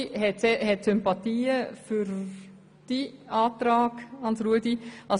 Die Hälfte hat Sympathien für den Antrag von Hans-Rudolf Saxer.